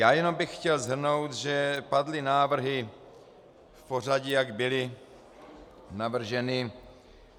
Já jenom bych chtěl shrnout, že padly návrhy v pořadí, jak byly navrženy.